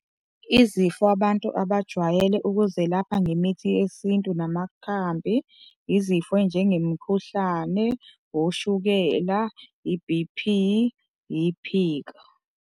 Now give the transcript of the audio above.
Izifo abantu abajwayele ukuzelapha ngemithi yesintu namakhambi izifo ey'njengemikhuhlane, oshukela, yi-B_P, yiphika.